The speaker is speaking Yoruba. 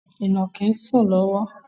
Ìnàkí na ń sùn lọ́wọ́